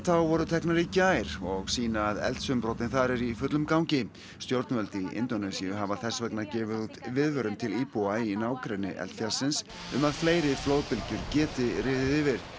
voru teknar í gær og sýna að eldsumbrotin þar eru í fullum gangi stjórnvöld í Indónesíu hafa þess vegna gefið út viðvörun til íbúa í nágrenni eldfjallsins um að fleiri flóðbylgjur geti riðið yfir